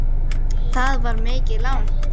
Það var mikið lán.